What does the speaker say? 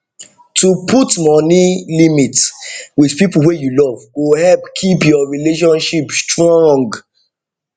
to put money limit with people wey you love go help keep your relationship strong